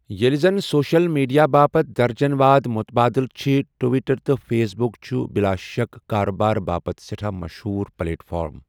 ییلہِ زن social media باپتھ درجن وادٕ مٗتبٲدِل چھِ ، ٹوِٹر تہٕ فیس بٗك چھِ بِلا شك كاربارٕ باپتھ سہٹھاہ مشہوٗر پلیٹ فارم ۔